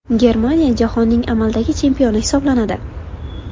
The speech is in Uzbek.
Germaniya jahonning amaldagi chempioni hisoblanadi.